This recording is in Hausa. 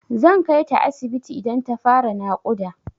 Zan kaita asibiti idan ta fara naƙuda.